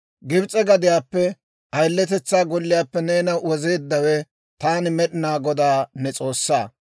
«Gibs'e gadiyaappe ayiletetsaa golliyaappe neena wozeeddawe taani Med'inaa Godaa ne S'oossaa.